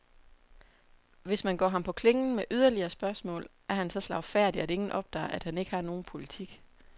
Hvis man går ham på klingen med yderligere spørgsmål, er han så slagfærdig, at ingen opdager, at han ikke har nogen politik.